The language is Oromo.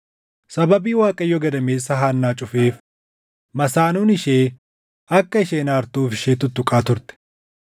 Sababii Waaqayyo gadameessa Haannaa cufeef masaanuun ishee akka isheen aartuuf ishee tuttuqaa turte.